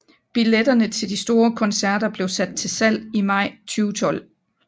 Biletterne til de ekstra koncerter blev sat til salg i maj 2012